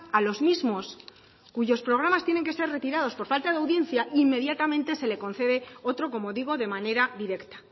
a los mismos cuyos programas tienen que ser retirados por falta de audiencia e inmediatamente se le concede otro como digo de manera directa